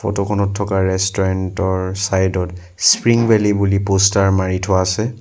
Photo খনত থকা restaurant ৰ চাইড ত স্প্ৰিং ভেলী বুলি প'ষ্টাৰ মাৰি থোৱা আছে।